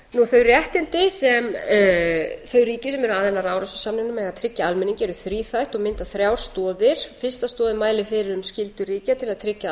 þau réttindi sem þau ríki sem eru aðilar að árósasamingnum eiga að tryggja almenningi eru þríþætt og mynda þrjár stoðir fyrsta stoðin mælir fyrir um skyldur ríkja til að tryggja að